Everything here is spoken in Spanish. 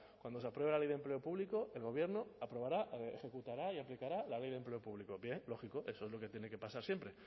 cuando se apruebe la ley de empleo público el gobierno aprobará ejecutará y aplicará la ley de empleo público bien lógico eso es lo que tiene que pasar siempre